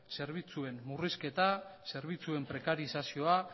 zerbitzuen murrizketa zerbitzuen prekarizazioa